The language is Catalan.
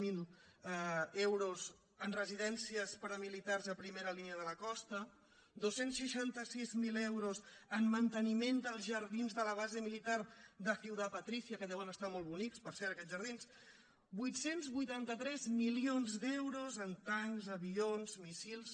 zero euros en residències per a militars a primera línia de la costa dos cents i seixanta sis mil euros en manteniment dels jardins de la base militar de ciudad patricia que deuen estar molt bonics per cert aquests jardins vuit cents i vuitanta tres milions d’euros en tancs avions míssils